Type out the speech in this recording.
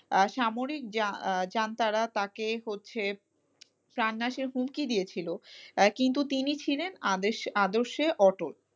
আর সামরিক যা আহ যান তারা তাকে হচ্ছে প্রাণনাশের হুমকি দিয়েছিল, আহ কিন্তু তিনি ছিলেন আদর্শে আদর্শে অটল,